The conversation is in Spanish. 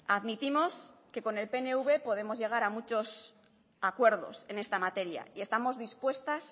admitimos que con el pnv podemos llegar a muchos acuerdos en esta materia y estamos dispuestas